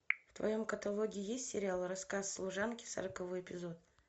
в твоем каталоге есть сериал рассказ служанки сороковой эпизод